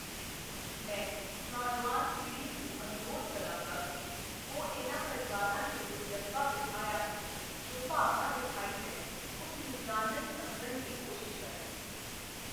ਮੈਂ ਨੌਜਵਾਨ ਪੀੜ੍ਹੀ ਨੂੰ ਅਨੁਰੋਧ ਕਰਾਂਗਾ ਕਿ ਉਹ, ਇਨ੍ਹਾਂ ਪਰਿਵਾਰਾਂ ਨੇ ਜੋ ਜਜ਼ਬਾ ਵਿਖਾਇਆ ਹੈ, ਜੋ ਭਾਵਨਾ ਵਿਖਾਈ ਹੈ, ਉਸ ਨੂੰ ਜਾਨਣ, ਸਮਝਣ ਦੀ ਕੋਸ਼ਿਸ਼ ਕਰਨ।